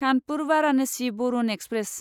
Kanpur Varanasi Varuna express